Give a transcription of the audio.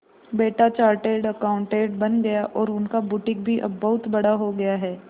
बेटा chartered accountant बन गया और उनका बुटीक भी अब बहुत बड़ा हो गया है